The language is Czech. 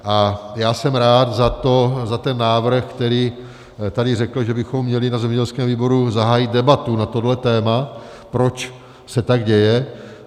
A já jsem rád za ten návrh, který tady řekl, že bychom měli na zemědělském výboru zahájit debatu na tohle téma, proč se tak děje.